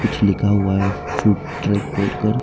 कुछ लिखा हुआ है फूड ट्रैक बोर्ड पर।